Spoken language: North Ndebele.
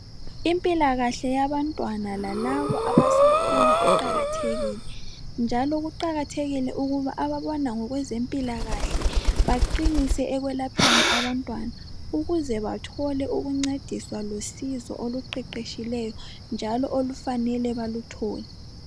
Impilakahle yabantwana lalabo abasakhula iqakathekile, njalo kuqakathekile ukuba ababona ngokwezempilakahle, baqinise ekwelapheni abantwana. Ukuze bathole ukuncediswa losizo, oluqeqetshileyo, njalo olufanele baluthole.